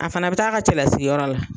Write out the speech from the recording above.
A fana bɛ taa a ka cɛ lasigiyɔrɔ la.